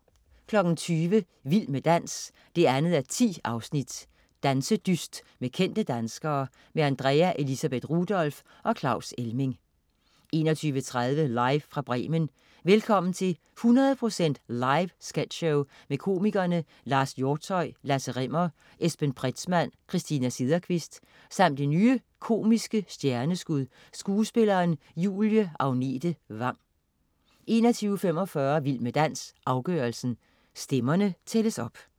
20.00 Vild med dans 2:10. Dansedyst med kendte danskere. Andrea Elisabeth Rudolph og Claus Elming 21.30 Live fra Bremen. Velkommen til 100 procent live sketchshow med komikerne Lars Hjortshøj, Lasse Rimmer, Esben Pretzmann, Christina Sederqvist samt det nye komiske stjerneskud, skuespilleren Julie Agnete Vang 21.45 Vild med dans, afgørelsen. Stemmerne tælles op